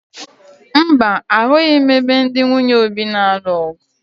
Mba, ahụghị m ebe ndị nwunye Obi na-alụ ọ̀gụ̀